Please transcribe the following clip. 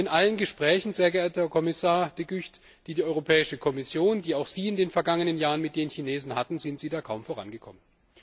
Und in allen Gesprächen, sehr geehrter Herr Kommissar De Gucht, die die Europäische Kommission, die auch Sie in den vergangenen Jahren mit den Chinesen hatten, sind Sie da kaum vorangekommen.